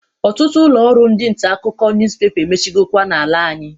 Ọtụtụ ụlọ ọrụ ndi ntakụkọ nuspepa emechigokwa na-ala anyị.